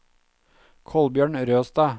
Kolbjørn Røstad